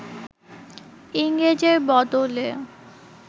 ইংরেজের বদলে